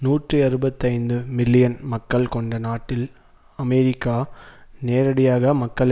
நூற்றி அறுபத்தைந்து மில்லியன் மக்கள் கொண்ட நாட்டில் அமெரிக்கா நேரடியாக மக்கள்